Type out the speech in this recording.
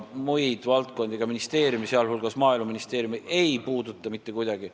Muid valdkondi, sh Maaeluministeeriumi valdkonda, ei puuduta nad mitte kuidagi.